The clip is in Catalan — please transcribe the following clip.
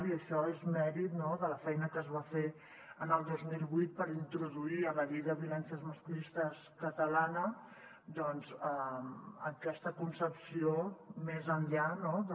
i això és mèrit de la feina que es va fer el dos mil vuit per introduir en la llei de violències masclistes catalana aquesta concepció més enllà de